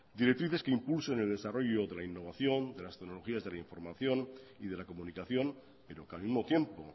directrices que impulsen el desarrollo de la innovación de las tecnologías de la información y de la comunicación pero que al mismo tiempo